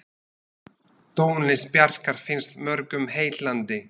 Tónlist Bjarkar finnst mörgum heillandi.